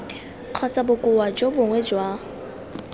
kgotsa bokoa jo bongwe jwa